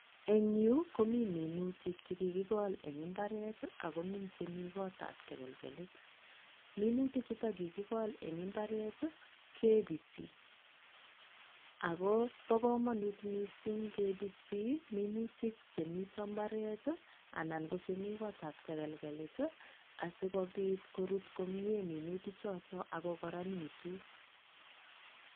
Eng yuu komii minutik chekikikol en imbaret i akomii chemikotab tekelkelit, minutichuton kikikol en imbaret i kebisii, akoboo komonut mising kebisii minutik chemiten imbaret i anan kochemii kotab tekelkelit asikobit korut komiee minutichoton akokoronitun.